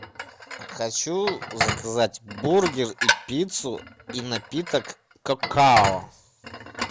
хочу заказать бургер и пиццу и напиток какао